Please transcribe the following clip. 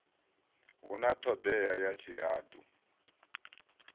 hu na thodea ya tshihadu